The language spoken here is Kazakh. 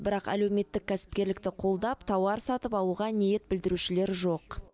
бірақ әлеуметтік кәсіпкерлікті қолдап тауар сатып алуға ниет білдірушілер жоқ